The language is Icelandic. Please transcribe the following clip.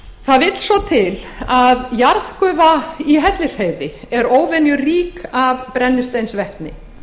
vill svo til að jarðgufa í hellisheiði er óvenjurík af brennisteinsvetni